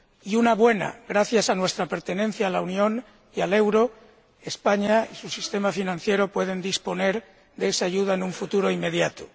Y una buena gracias a nuestra pertenencia a la Unión y al euro, España y su sistema financiero pueden disponer de esa ayuda en un futuro inmediato.